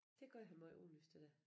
Det gør han meget åbenlyst det der